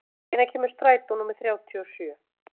Bogdís, hvenær kemur strætó númer þrjátíu og sjö?